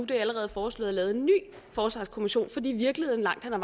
det allerede foreslået at lave en ny forsvarskommission fordi virkeligheden langt hen ad